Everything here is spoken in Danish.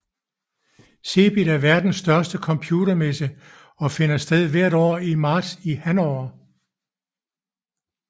CeBIT er verdens største computermesse og finder sted hvert år i marts i Hannover